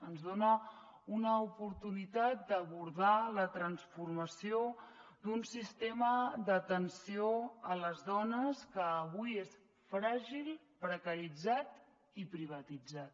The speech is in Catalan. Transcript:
ens dona una oportunitat d’abordar la transformació d’un sistema d’atenció a les dones que avui és fràgil precaritzat i privatitzat